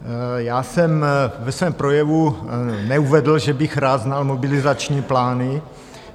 Já jsem ve svém projevu neuvedl, že bych rád znal mobilizační plány.